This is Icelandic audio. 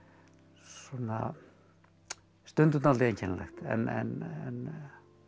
svona stundum dálítið einkennilegt en